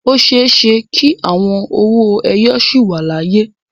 O ṣeé ṣe kí àwọn owó ẹyọ sì wà láyé.